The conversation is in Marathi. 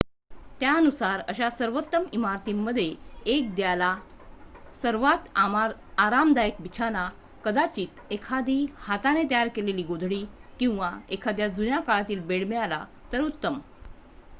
त्यानुसार अशा सर्वोत्तम इमारतींमध्ये 1 द्या ला सर्वात आरामदायक बिछाना कदाचित एखादी हाताने तयर केलेली गोधडी किंवा एखादा जुन्या काळातील बेड मिळाला तर उत्तम